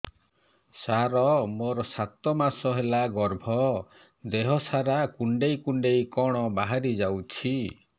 ସାର ମୋର ସାତ ମାସ ହେଲା ଗର୍ଭ ଦେହ ସାରା କୁଂଡେଇ କୁଂଡେଇ କଣ ବାହାରି ଯାଉଛି